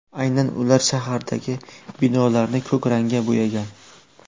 Aynan ular shahardagi binolarni ko‘k rangga bo‘yagan.